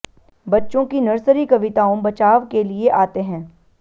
बच्चों की नर्सरी कविताओं बचाव के लिए आते हैं